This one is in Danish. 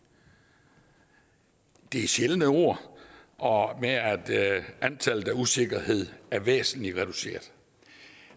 det er sjældne ord og antallet af usikkerheder er væsentlig reduceret